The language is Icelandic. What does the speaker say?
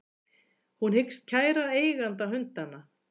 Hún hyggst kæra eiganda hundanna